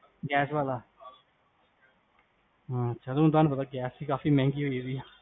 gas ਵਾਲਾ, ਅਛਾ ਤੁਹਾਨੂੰ ਪਤਾ ਗੈਸ ਵੀ ਕਾਫੀ ਮੇਹਂਗੀ ਹੋਗਈ